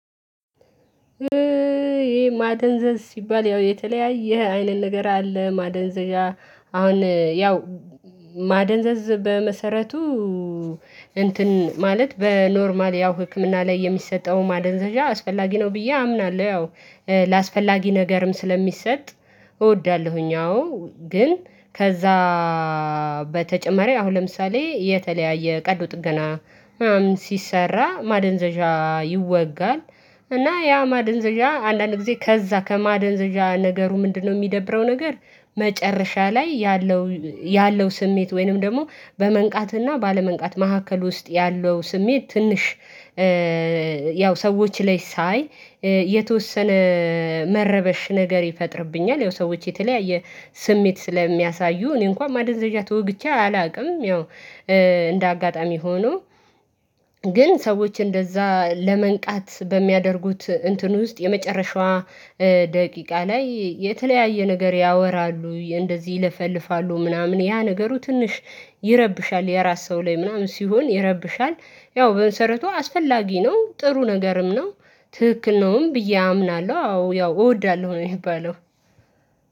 ይሄ ማደንዘዝ ሲባል ያው የተለያየ አይነት ነገር አለ ማደንዘዣ አሁን ያው ማደንዘዝ በመሰረቱ እንትን ማለት በኖርማል ያው ህክምና ላይ የሚሰጠው ማደንዘዣ አስፈላጊ ነው ብዬ አምናለሁ። ያው ለአስፈላጊ ነገርም ስለሚሰጥ እወዳለሁኝ። አዎ ግን ከዛ በተጨማሪ አሁን ለምሳሌ የተለያየ ቀዶ ጥገና ምናምን ሲሰራ ማደንዘዣ ይወጋል እና ያ ማደንዘዣ አንዳንድ ጊዜ ከዛ ከማደንዘዣ ነገሩ ምንድነው የሚደብረው? ነገር መጨረሻ ላይ ያለው ያለው ስሜት ወይንም ደግሞ በመንቃትና ባለመንቃት መሃከል ውስጥ ያለው ስሜት ትንሽ ያው ሰዎች ላይ ሳይ የተወሰነ መረበሽ ነገር ይፈጥርብኛል። ያው ሰዎች የተለያየ ስሜት ስለሚያሳዩ እኔ እንኳን ማደንዘዣ ተወግቼ አላቅም። ያው እንደ አጋጣሚ ሆኖ ግን ሰዎች እንደዛ ለመንቃት በሚያደርጉት እንትን ውስጥ የመጨረሻዋ ደቂቃ ላይ የተለያየ ነገር ያወራሉ እንደዚህ ይለፈልፋሉ ምናምን ያ ነገሩ ትንሽ ይረብሻል። የራስ ሰው ላይ ምናምን ሲሆን ይረብሻል። ያው በመሰረቱ አስፈላጊ ነው ጥሩ ነገርም ነው። ትክክል ነውም ብዬ አምናለሁ አዎ ያው እወዳለሁ ነው የሚባለው።